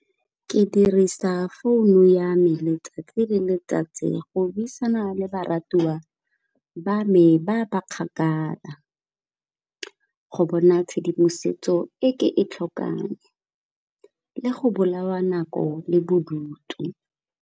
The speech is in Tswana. Ke dirisa founu ya me letsatsi le letsatsi go buisana le barartuwa ba me ba ba kgakala, go bona tshedimosetso e ke e tlhokang le go bolawa nako le bodutu.